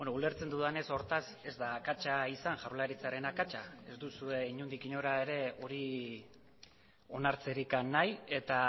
ulertzen dudanez hortaz ez da akatsa izan jaurlaritzaren akatsa ez duzue inondik inora ere hori onartzerik nahi eta